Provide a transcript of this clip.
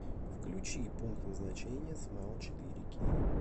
включи пункт назначения смайл четыре кей